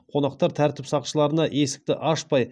қонақтар тәртіп сақшыларына есікті ашпай